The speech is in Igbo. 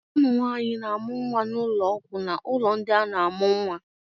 Ụmụ nwanyị na-amụ nwa n'ụlọọgwụ na ụlọ ndị a na-amụ nwa.